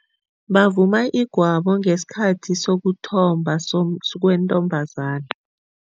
Bavuma igwabo ngesikhathi sokuthomba kweentombazana.